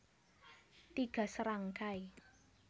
Tiga Serangkai